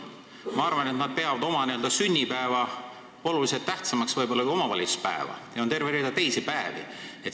Ma arvan, et nad peavad oma sünnipäeva oluliselt tähtsamaks kui omavalitsuspäeva, ja on veel terve hulk teisi päevi.